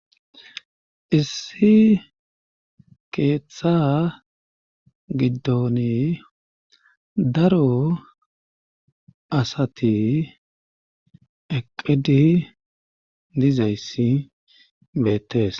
issi keeththa giddoni daro asati eqidi dizayssi beettees